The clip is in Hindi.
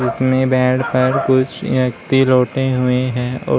जिसमें बेड पर कुछ व्यक्ति लोट हुए हैं और--